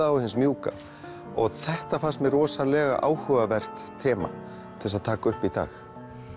og hins mjúka þetta fannst mér áhugavert þema til að taka upp í dag